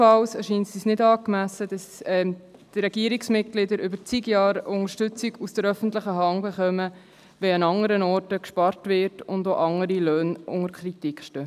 Ebenfalls erscheint es uns für nicht angemessen, dass die Regierungsmitglieder über zig Jahre Unterstützung von der öffentlichen Hand erhalten, während andernorts gespart wird und andere Löhne unter Kritik stehen.